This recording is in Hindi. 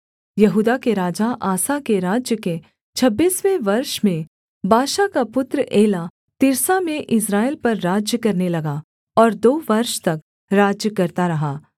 यहूदा के राजा आसा के राज्य के छब्बीसवें वर्ष में बाशा का पुत्र एला तिर्सा में इस्राएल पर राज्य करने लगा और दो वर्ष तक राज्य करता रहा